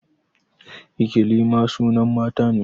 Ikilima sunan mata ne